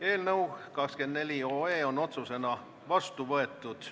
Eelnõu 24 on otsusena vastu võetud.